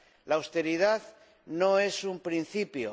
La austeridad no es un principio.